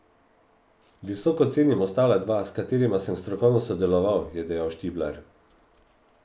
Visoko cenim ostala dva, s katerima sem strokovno sodeloval, je še dejal Štiblar.